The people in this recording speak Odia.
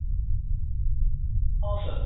ହଁ sir